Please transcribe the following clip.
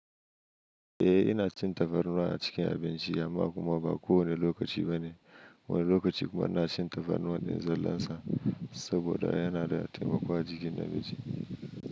Eh ina cin tafarnuwa a cikin abinci amma kuma ba kowane lokaci bane. Wani lokaci kuma ina cin tafarnuwa ɗin zallansa saboda yana da taimako a jikin na mijin.